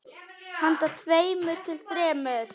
Handa tveimur til þremur